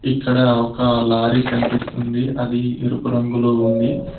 ఇక్కడ ఒక లారీ కనిపిస్తుంది అది ఎరుపు రంగులో ఉంది.